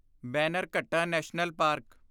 Bannerghatta National park